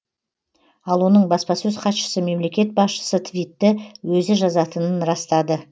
ал оның баспасөз хатшысы мемлекет басшысы твитті өзі жазатынын растады